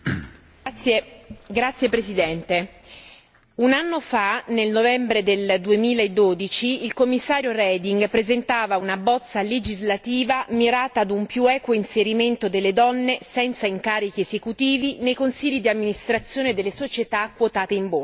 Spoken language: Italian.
Signor Presidente, un anno fa, nel novembre 2012, il Commissario Reding presentava una bozza legislativa mirata a un più equo inserimento delle donne senza incarichi esecutivi nei consigli di amministrazione delle società quotate in Borsa.